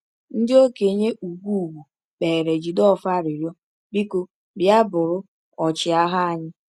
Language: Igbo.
Ndị okenye ugwu ugwu kpeere Jideofor arịrịọ: “Biko, bịa bụrụ ọchịagha anyị.”